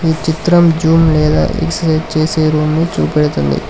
ఈ చిత్రం జూమ్ లేద ఎక్సర్సైజ్ రూమును చూపెడుతుంది.